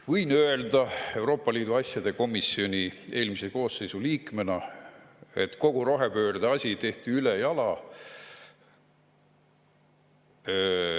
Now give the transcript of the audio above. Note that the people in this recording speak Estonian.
Võin öelda Euroopa Liidu asjade komisjoni eelmise koosseisu liikmena, et kogu rohepöörde asi tehti ülejala.